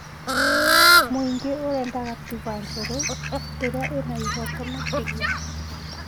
Mũingĩ ũrenda katiba njerũ ĩrĩa ĩna ihoto makĩria